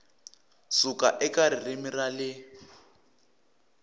suka eka ririmi ra le